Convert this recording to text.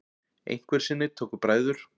Einhverju sinni tóku bræður